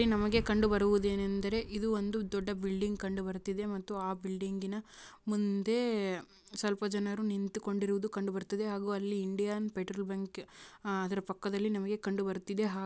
ಇಲ್ಲಿ ನಮಗೆ ಕಂಡುಬರುವುದು ಏನೆಂದರೆ ಇದು ಒಂದು ದೊಡ್ಡ ಬಿಲ್ಡಿಂಗ್ ಕಂಡು ಬರುತ್ತಿದೆ ಮತ್ತು ಆ ಬಿಲ್ಡಿಂಗಿನ ಮುಂದೆ ಸ್ವಲ್ಪ ಜನರು ನಿಂತಿಕೊಂಡಿರುವುದು ಕಂಡು ಬರುತ್ತದೆ ಹಾಗೂ ಅಲ್ಲಿ ಇಂಡಿಯನ್ ಪೆಟ್ರೋಲ್ ಬಂಕ್ ಅದರ ಪಕ್ಕದಲ್ಲಿ ಕಂಡು ಬರುತ್ತಿದೆ ಹಾಗೂ--